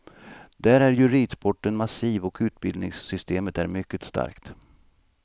Där är ju ridsporten massiv och utbildningssystemet är mycket starkt.